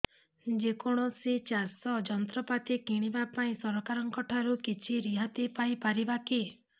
ଯେ କୌଣସି ଚାଷ ଯନ୍ତ୍ରପାତି କିଣିବା ପାଇଁ ସରକାରଙ୍କ ଠାରୁ କିଛି ରିହାତି ପାଇ ପାରିବା କି